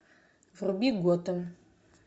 вруби готэм